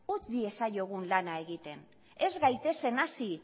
utz diezaiogun lana egiten ez gaitezen hasi